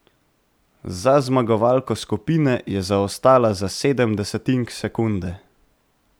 Za zmagovalko skupine je zaostala za sedem desetink sekunde.